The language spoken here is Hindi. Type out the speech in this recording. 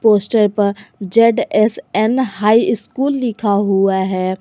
पोस्टर पर जेड_एस_एन हाई स्कूल लिखा हुआ है।